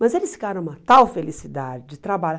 Mas eles ficaram uma tal felicidade de trabalhar.